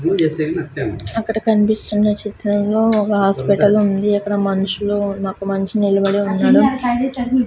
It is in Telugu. అక్కడ కన్పిస్తున్న చిత్రంలో ఒగ ఆస్పిటలుంది అక్కడ మన్షులు ఒక మన్షీ నిలబడి ఉన్నాడు.